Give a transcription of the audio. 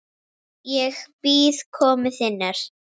Ég bíð komu þinnar.